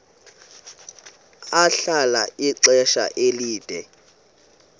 ahlala ixesha elide